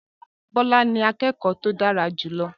Bola ni akẹ́kọ̀ọ́ tó dára jù lọ